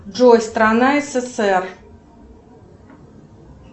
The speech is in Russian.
джой страна ссср